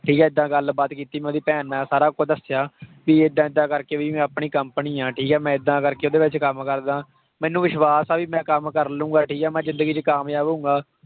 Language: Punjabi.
ਠੀਕ ਹੈ ਏਦਾਂ ਗੱਲਬਾਤ ਕੀਤੀ ਮੈਂ ਉਹਦੀ ਭੈਣ ਨੂੰ ਸਾਰਾ ਕੁਛ ਦੱਸਿਆ ਵੀ ਏਦਾਂ ਏਦਾਂ ਕਰਕੇ ਵੀ ਮੈਂ ਆਪਣੀ company ਹੈ ਠੀਕ ਹੈ ਮੈਂ ਏਦਾਂ ਕਰਕੇ ਉਹਦੇ ਵਿੱਚ ਕੰਮ ਕਰਦਾਂ ਮੈਨੂੰ ਵਿਸ਼ਵਾਸ ਆ ਵੀ ਮੈਂ ਕੰਮ ਕਰ ਲਵਾਂਗਾ ਠੀਕ ਹੈ ਮੈਂ ਜ਼ਿੰਦਗੀ 'ਚ ਕਾਮਯਾਬ ਹੋਊਂਗਾ।